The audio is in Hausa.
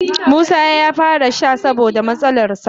Isah ya fara sha saboda matsalarsa.